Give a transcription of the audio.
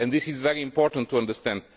This is very important to understand.